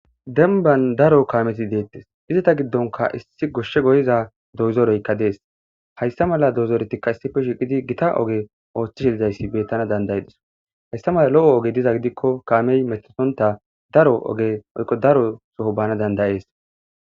denban daro kaameti deettes izita giddonka issi goshshe goyiza dozoroykka dees hayssa mala dozoretikka issife shiqidi gita oge ooththi shiizayssi bettana dandaye diso hayssa mala lo7o oge diza gidikko kaamey metsonta daro oge oykko daro soho bana dandayees